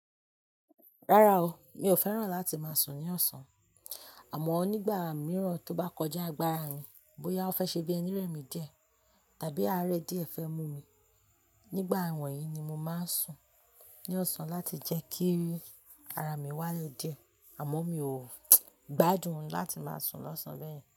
Rárá o, mi ò fẹ́ràn láti máa sùn ní ọ̀sán. Àmọ́ onígbà mìíràn tó bá kọjá agbára mi, bóyá ó fẹ́ ṣe bí ẹnírẹ̀mì jẹ tàbí àárẹ̀ díẹ̀ fẹ́ mú mi, nígbà wọ̀nyí ni mo máa ń sùn ní ọ̀sán láti jẹ́ kí ara mi wálé díẹ̀. Àmọ́ mi ò gbádùn láti máa sùn lọ́sàn án bẹ́ẹ̀yẹn.